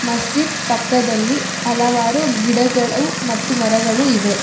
ಮಸ್ಜಿದ್ ಪಕ್ಕದಲ್ಲಿ ಹಲವಾರು ಗಿಡಗಳು ಮತ್ತು ಮರಗಳು ಇವೆ.